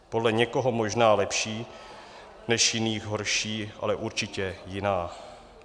Podle někoho možná lepší, podle jiných horší, ale určitě jiná.